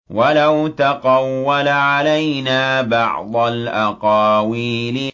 وَلَوْ تَقَوَّلَ عَلَيْنَا بَعْضَ الْأَقَاوِيلِ